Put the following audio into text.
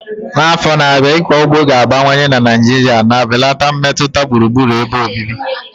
N'afọ ndị na-abịa, ịkọ ugbo ga-abawanye na Naijiria na-ebelata mmetụta gburugburu ebe obibi.